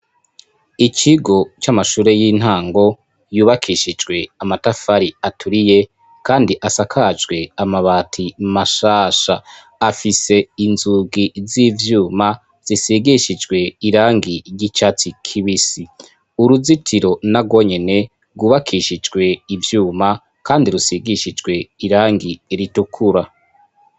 ikigo c'amashure y'intango yubakishijwe amatafari aturiye kandi asakajwe amabati mashasha .Afise inzugi z'ivyuma zisigishijwe irangi ry'icatsi kibisi uruzitiro narwo nyene rgubakishijwe ivyuma kandi rusigishijwe irangi ritukura.